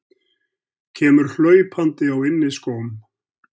Kemur hlaupandi á inniskóm.